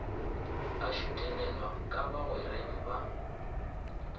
a šutelelwa ka bagwereng ba